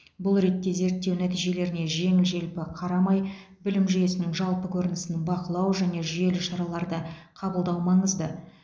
бұл ретте зерттеу нәтижелеріне жеңіл желпі қарамай білім жүйесінің жалпы көрінісін бақылау және жүйелі шараларды қабылдау маңызды